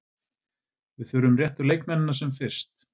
Við þurfum réttu leikmennina sem fyrst.